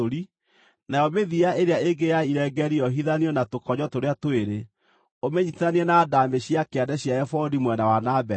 nayo mĩthia ĩrĩa ĩngĩ ya irengeeri yohithanio na tũkonyo tũrĩa twĩrĩ, ũmĩnyiitithanie na ndaamĩ cia kĩande cia ebodi mwena wa na mbere.